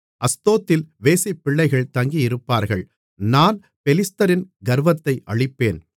அஸ்தோத்தில் வேசிப்பிள்ளைகள் தங்கியிருப்பார்கள் நான் பெலிஸ்தரின் கர்வத்தை அழிப்பேன்